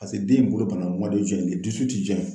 Paseke den in bolo banana